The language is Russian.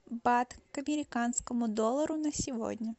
бат к американскому доллару на сегодня